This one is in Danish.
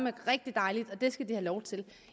er rigtig dejligt det skal de have lov til